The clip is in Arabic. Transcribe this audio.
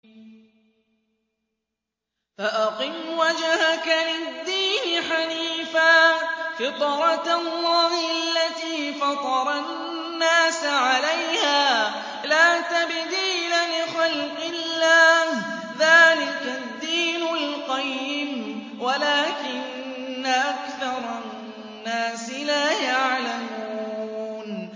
فَأَقِمْ وَجْهَكَ لِلدِّينِ حَنِيفًا ۚ فِطْرَتَ اللَّهِ الَّتِي فَطَرَ النَّاسَ عَلَيْهَا ۚ لَا تَبْدِيلَ لِخَلْقِ اللَّهِ ۚ ذَٰلِكَ الدِّينُ الْقَيِّمُ وَلَٰكِنَّ أَكْثَرَ النَّاسِ لَا يَعْلَمُونَ